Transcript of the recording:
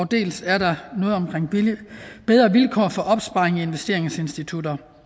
dels er der noget om bedre vilkår for opsparing i investeringsinstitutter